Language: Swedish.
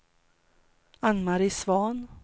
Ann-Marie Svahn